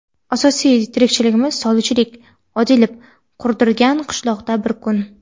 "Asosiy tirikchiligimiz – sholichilik" - Odilov qurdirgan qishloqda bir kun.